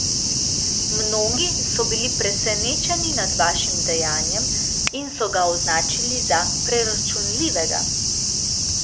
Mnogi so bili presenečeni nad vašim dejanjem in so ga označili za preračunljivega.